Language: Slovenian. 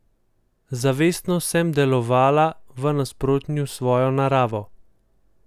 Zavestno sem delovala v nasprotju s svojo naravo.